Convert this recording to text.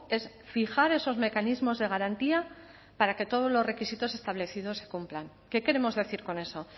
es fijar esos mecanismos de garantía para que todos los requisitos establecidos se cumplan qué queremos decir con eso